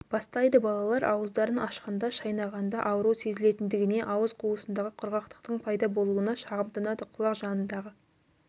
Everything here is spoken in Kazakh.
бастайды балалар ауыздарын ашқанда шайнағанда ауыру сезілетіндігіне ауыз қуысындағы құрғақтықтың пайда болуына шағымданады құлақ жанындағы